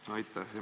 Aitäh!